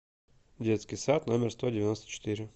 детский сад номер сто девяносто четыре